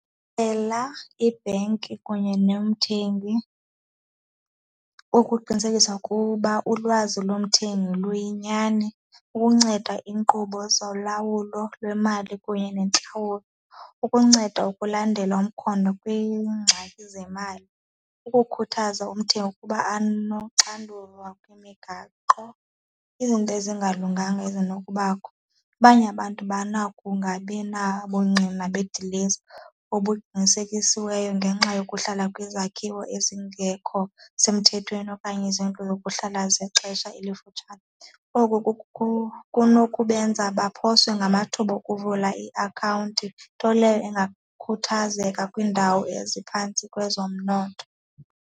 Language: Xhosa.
Cela ibhenki kunye nomthengi ukuqinisekisa ukuba ulwazi lomthengi luyinyani, ukunceda iinkqubo zolawulo lwemali kunye neentlawulo. Ukunceda ukulandela umkhondo kwiingxaki zemali, ukukhuthaza umthengi ukuba anoxanduva kwimigaqo, izinto ezingalunganga ezinokubakho. Abanye abantu banako ungabi na bungqina bedilesi obuqinisekisiweyo ngenxa yokuhlala kwizakhiwo ezingekho semthethweni okanye izindlu zokuhlala zexesha elifutshane. Oku kunokubenza baphoswe ngamathuba okuvula iakhawunti, nto leyo ebangakhuthazeka kwiindawo eziphantsi kwezomnotho.